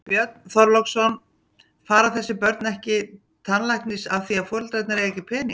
Björn Þorláksson: Fara þessi börn ekki tannlæknis af því að foreldrarnir eiga ekki pening?